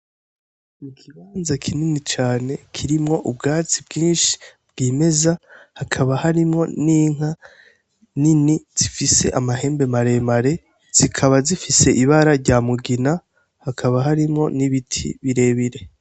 Ikibanza kinini cane kirimwo ubwatsi bwinshi bwimeza hakaba harimwo n' inka nini zifise amahembe mare mare zikaba zifise ibara rya mugina hakaba harimwo n' ibiti bire bire.